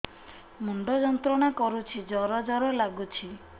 ମୁଣ୍ଡ ଯନ୍ତ୍ରଣା କରୁଛି ଜର ଜର ଲାଗୁଛି